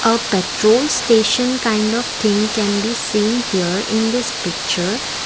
a petrol station kind of thing can be seen here in this picture.